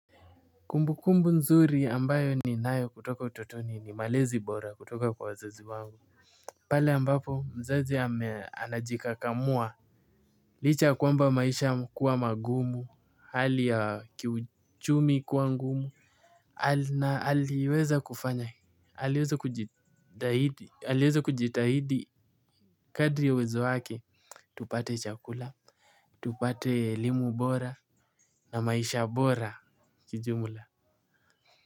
Kumbukumbu nzuri ambayo ninayo kutoka utoto ni malezi bora kutoka kwa wazazi wangu. Pale ambapo mzazi ameanajika kamua Lichaya kwamba maisha kuwa magumu hali ya kiuchumi kuwa ngumu na aliweza kufanya aliweza kujitahidi kadri ya uwezo wake. Tupate chakula, tupate elimu bora na maisha bora kijumla.